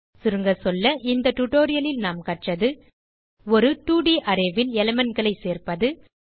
சுருங்க சொல்ல இந்த டுரோயல் ல் நாம் கற்றது ஒரு 2ட் arrayல் elementகளை சேர்ப்பது